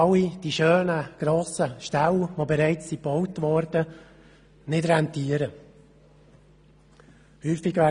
All die schönen, grossen Ställe, die gebaut wurden, rentieren nicht.